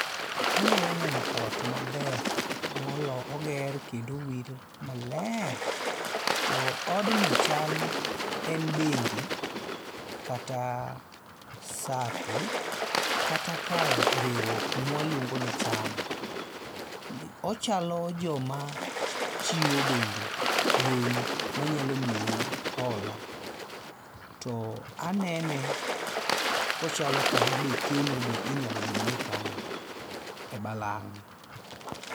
Anyalo neno ot maber moger kendo kendo owir maler, to odni chal en bengi kata sako kata kar riwruok ma waluongo ni chama, ochalo joma chiwo bende gowi manyalo miyou hola to anene kochalo kama be keno be inyalo bedo ni ikane e balang'